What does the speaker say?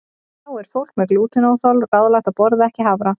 Þá er fólki með glútenóþol ráðlagt að borða ekki hafra.